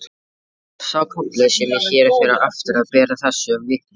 Sá kafli sem hér fer á eftir ber þessu vitni: